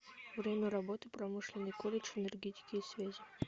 время работы промышленный колледж энергетики и связи